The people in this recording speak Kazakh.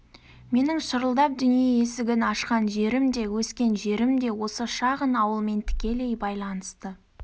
менің шырылдап дүние есігін ашқан жерім де өскен жерім де осы шағын ауылмен тікелей байланысты